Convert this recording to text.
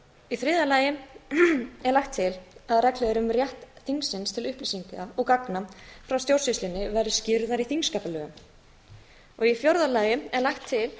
í þriðja lagi er lagt til að reglur um rétt þingsins til upplýsinga og gagna frá stjórnsýslunni verði skýrðar í þingskapalögum í fjórða lagi er lagt til að